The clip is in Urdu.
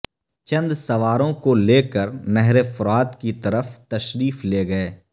چند سواروں کو لے کر نہر فرات کی طرف تشریف لے گئے